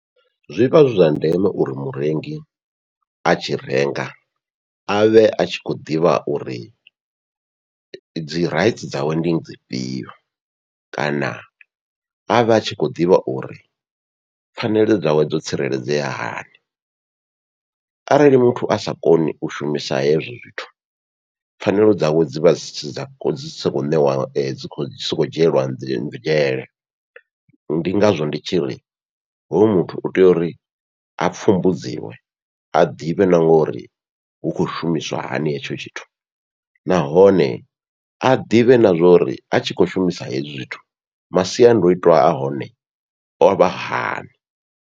Zwivha zwi zwa ndeme uri murengi a tshi renga avhe a tshi khou ḓivha uri dzi rights dzawe ndi dzifhio, kana avhe a tshi khou ḓivha uri pfhanelo dzawe dzo tsireledzea hani arali muthu asa koni u shumisa hezwi zwithu pfhanelo dzawe dzivha dzi si dza dzi sa khou ṋewa dzi khou sokou dzhielwa dzi nzhele, ndi ngazwo ndi tshi ri hoyo muthu utea uri a pfumbudziwe a ḓivhe na nga uri hu khou shumiswa hani hetsho tshithu, nahone a ḓivhe na zwa uri a tshi khou shumisa hezwi zwithu masiandoitwa ahone ovha hani.